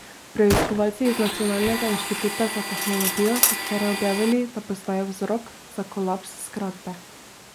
Preiskovalci iz Nacionalnega inštituta za tehnologijo so včeraj objavili, da poznajo vzrok za kolaps zgradbe.